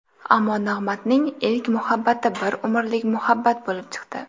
Ammo Nig‘matning ilk muhabbati bir umrlik muhabbat bo‘lib chiqdi.